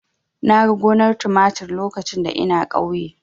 Na ga gonar tumatir lokacin da ina ƙauye.